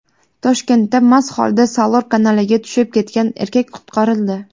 Toshkentda mast holida Salor kanaliga tushib ketgan erkak qutqarildi.